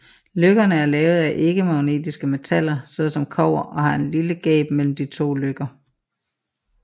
Løkkerne er lavet af ikkemagnetiske metaller såsom kobber og har et lille gab mellem de to løkker